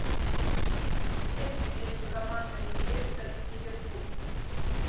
дерби между командами лестер ливерпуль